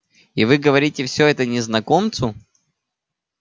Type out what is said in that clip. и вы говорите всё это незнакомцу